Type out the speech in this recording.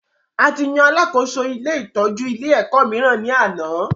A tí yan alàkóso ilé ìtọjú ilé ẹ̀kọ́ míìrán ni àná